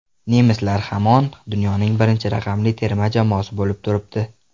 Nemislar hamon dunyoning birinchi raqamli terma jamoasi bo‘lib turibdi.